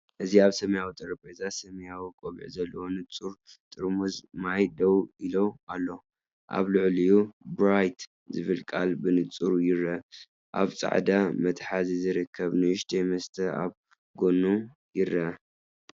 እዚ ኣብ ሰማያዊ ጠረጴዛ ሰማያዊ ቆቢዕ ዘለዎ ንጹር ጥርሙዝ ማይ ደው ኢሉ ኣሎ፤ ኣብ ልዕሊኡ ‘በረራይት’ ዝብል ቃላት ብንጹር ይርአ። ኣብ ጻዕዳ መትሓዚ ዝርከብ ንእሽቶ መስተ ኣብ ጎድኑ ይርአ።